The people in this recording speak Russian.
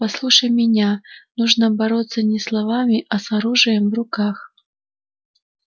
послушай меня нужно бороться не словами а с оружием в руках